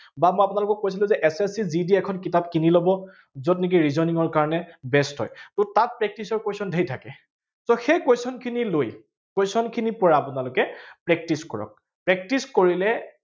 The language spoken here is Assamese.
বা মই আপোনালোকক কৈছিলো যে SST, GB ৰ এখন কিতাপ কিনি লব, যত নেকি reasoning ৰ কাৰনে best হয়। উম তাত practice ৰ question ঢেৰ থাকে। so সেই question খিনি লৈ question খিনিৰ পৰা আপোনালোকে practice কৰক। practice কৰিলে